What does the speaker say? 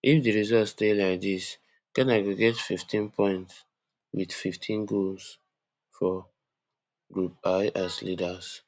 if di result stay like dis ghana go get fifteen points wit fifteen goals fro group i as leaders